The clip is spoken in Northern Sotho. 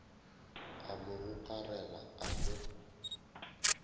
a mo gokarela a mo